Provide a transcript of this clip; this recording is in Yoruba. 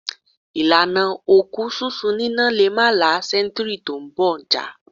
Ìlànà òkú sísun níná lè má la sẹ́ńtúúrì tí ó ń bọ̀ já.